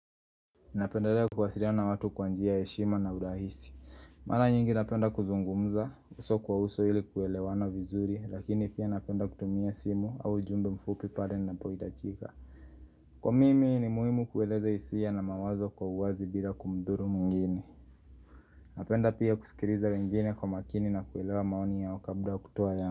Napendelea kuwasiliana watu kwa njia ya heshima na urahisi. Mara nyingi napenda kuzungumza, uso kwa uso ili kuelewana vizuri, lakini pia napenda kutumia simu au ujumbe mfupi pale inapohitajika. Kwa mimi ni muhimu kueleza hisia na mawazo kwa uwazi bila kumdhuru mwingine. Napenda pia kusikiliza wengine kwa makini na kuelewa maoni yao kabla kutoa yangu.